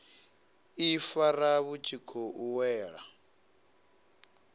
ifara vhu tshi khou wela